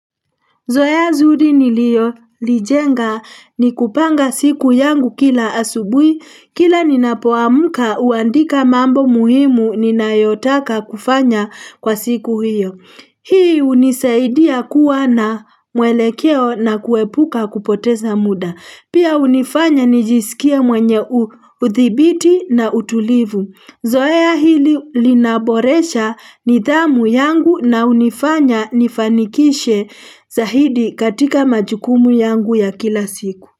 Zoea zuri nilio lijenga ni kupanga siku yangu kila asubui, kila ninapoamka huandika mambo muhimu ninayotaka kufanya kwa siku hiyo. Hii hunisaidia kuwa na mwelekeo na kuepuka kupoteza muda. Pia hunifanya nijisikie mwenye uthibiti na utulivu. Zoea hili linaboresha nidhamu yangu na hunifanya nifanikishe zahidi katika majukumu yangu ya kila siku.